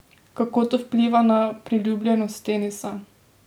Pa v resnici držijo?